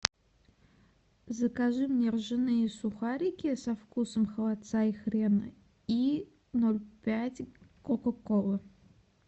закажи мне ржаные сухарики со вкусом холодца и хрена и ноль пять кока колы